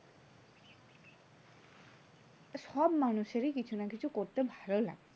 সব মানুষেরই কিছু না কিছু করতে ভালো লাগে।